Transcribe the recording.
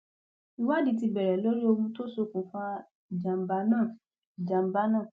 ìwádìí ti bẹrẹ lórí ohun tó ṣokùnfà ìjàmbá náà ìjàmbá náà